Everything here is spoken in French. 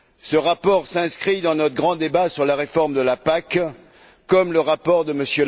Ce rapport s'inscrit dans notre grand débat sur la réforme de la PAC, comme le rapport de M.